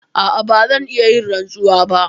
A'a, ba zan iya yin rantsuwa ba.